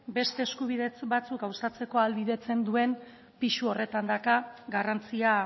beste eskubide batzuk gauzatzeko ahalbidetzen duen pisu horretan dauka garrantzia